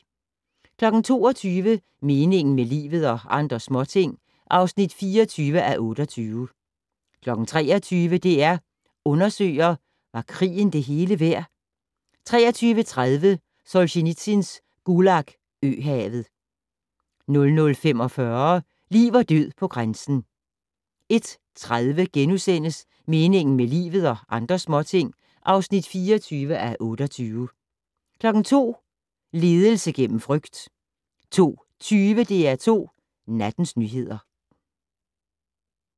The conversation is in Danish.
22:00: Meningen med livet - og andre småting (24:28) 23:00: DR Undersøger: Var krigen det hele værd 23:30: Solzjenitsyns "Gulag øhavet" 00:45: Liv og død på grænsen 01:30: Meningen med livet - og andre småting (24:28)* 02:00: Ledelse gennem frygt 02:20: DR2 Nattens nyheder